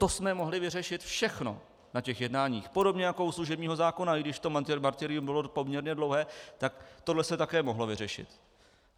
To jsem mohli vyřešit všechno na těch jednáních podobně jako u služebního zákona, i když to martyrium bylo poměrně dlouhé, tak tohle se také mohlo vyřešit.